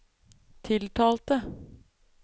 tiltalte